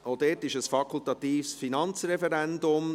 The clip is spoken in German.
Auch dieses untersteht dem fakultatives Finanzreferendum.